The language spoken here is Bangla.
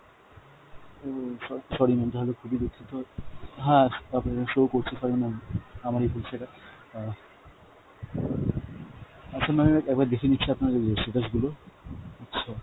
ও স~ sorry ma'am, তাহলে খুবই দুঃখিত, হ্যাঁ আপনার এখানে show করছে, sorry ma'am আমারই ভুল সেটা। অ্যাঁ, আচ্ছা ma'am আমি একবার দেখে নিচ্ছি আপনার status গুলো, আচ্ছা।